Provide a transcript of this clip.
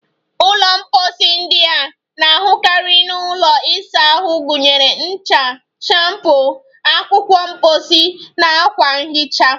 Ụlọ mposi ndị a na-ahụkarị n'ụlọ ịsa ahụ gụnyere ncha, shampoo, akwụkwọ mposi, na akwa nhicha.